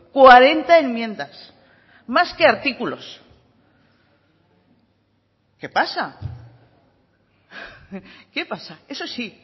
cuarenta enmiendas más que artículos qué pasa qué pasa eso sí